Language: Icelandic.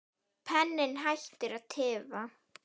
Penninn hættir að tifa.